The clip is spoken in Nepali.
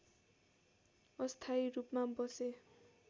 अस्थायी रूपमा बसे